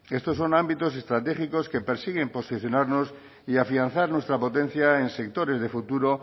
estos son ámbitos estratégicos que persiguen posicionarnos y afianzar nuestra potencia en sectores de futuro